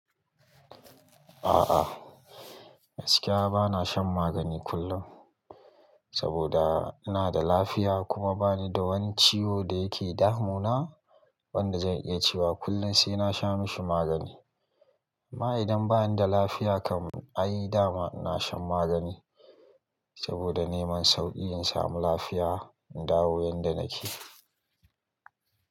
A'a gaskiya bana shan magani kullum, saboda ina da lafiya kuma bani da wani ciwo da yake damu na wanda zan iya cewa kullum sai na sha mashi magani amma idan bani da lafiya kam ai dama ina shan magani saboda neman sauki in samu lafiya, in dawo yanda nake.